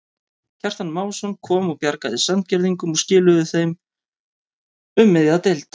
Kjartan Másson kom og bjargaði Sandgerðingum og skilaðu þeim um miðja deild.